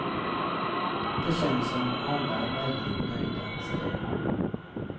Det känns som om alla är väldigt nöjda, säger han.